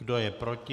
Kdo je proti?